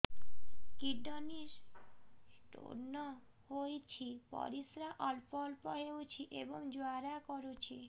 kidney stone ହୋଇଛି ପରିସ୍ରା ଅଳ୍ପ ଅଳ୍ପ ହେଉଛି ଏବଂ ଜ୍ୱାଳା କରୁଛି